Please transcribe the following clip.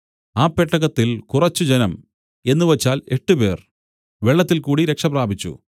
ആ പെട്ടകത്തിൽ കുറച്ച് ജനം എന്നുവച്ചാൽ എട്ടുപേർ വെള്ളത്തിൽകൂടി രക്ഷപ്രാപിച്ചു